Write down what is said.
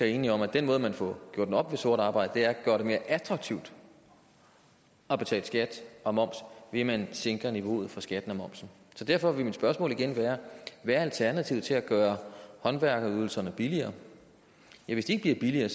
enige om at den måde man får gjort op med sort arbejde ved at gøre det mere attraktivt at betale skat og moms ved at man sænker niveauet for skatten og momsen derfor vil mit spørgsmål igen være hvad er alternativet til at gøre håndværkerydelserne billigere hvis de ikke bliver billigere